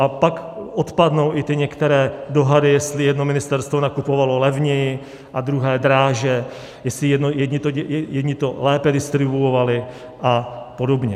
A pak odpadnou i ty některé dohady, jestli jedno ministerstvo nakupovalo levněji a druhé dráže, jestli to jedni lépe distribuovali a podobně.